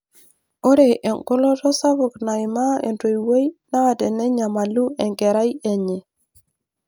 Ore engoloto sapuk naaimaa entoiui naa tenenyamalu enkerai enye.